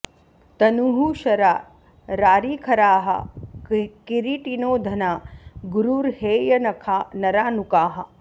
तनुः शरा रारिखराः किरीटिनो धना गुरुर्हेयनखा नरा नुकाः